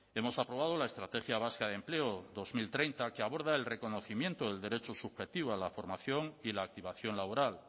hemos aprobado la estrategia vasca de empleo dos mil treinta que aborda el reconocimiento del derecho subjetivo a la formación y la activación laboral